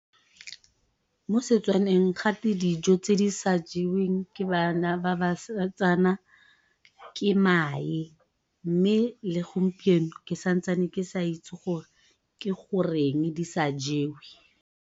Mo Setswaneng gate dijo tse di sa jeweng ke bana ba basetsana ke mae, mme le gompieno ke santse ke sa itse gore ke goreng di sa jewe.